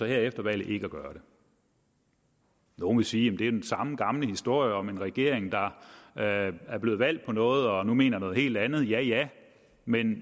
her efter valget ikke at gøre det nogle vil sige at det er den samme gamle historie om en regering der er blevet valgt på noget og nu mener noget helt andet ja ja men